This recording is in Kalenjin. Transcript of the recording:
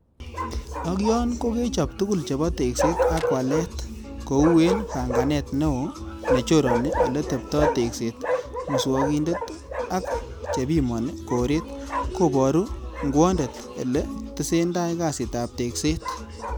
Ak yon kokechob tugul chebo tekset ak walet ko u en pang'anet, neo nechoroni eletebto tekset, muswogindet ak chebimoni koret koboru ngwondet elee tesendai kasitab tekset.